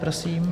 Prosím.